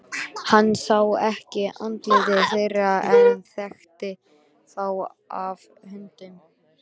Hann sá ekki andlit þeirra en þekkti þá af höndunum.